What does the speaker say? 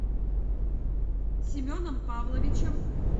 семеном павловичем